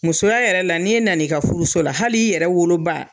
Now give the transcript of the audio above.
Musoya yɛrɛ la, ni e nal'i ka furuso la , hali e yɛrɛ woloba